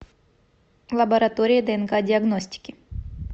лаборатория днк диагностики